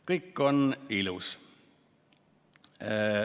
Kõik on ilus.